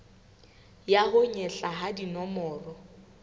ya ho nyehla ha dinomoro